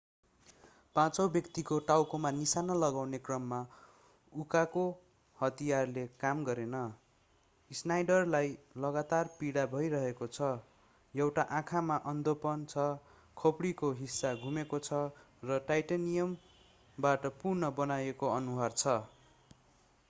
पाँचौँ व्यक्तिको टाउकोमा निशाना लगाउने क्रममा उकाको हतियारले काम गरेन स्नाइडरलाई लगातार पीडा भइरहेको छ एउटा आँखामा अन्धोपन छ खोपडीको हिस्सा गुमेको छ र टाइटानियमबाट पुनः बनाइएको अनुहार छ